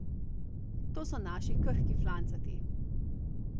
To so naši krhki flancati.